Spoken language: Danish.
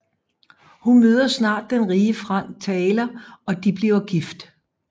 Hun møder snart den rige Frank Taylor og de bliver gift